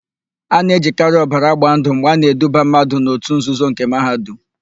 A na-ejikarị ọbara agba ndụ mgbe a na-eduba mmadụ n'òtù nzuzo nke Mahadum.